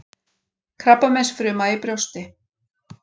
Krabbameinsfruma í brjósti.